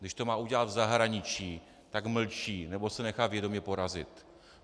Když to má udělat v zahraničí, tak mlčí nebo se nedá vědomě porazit.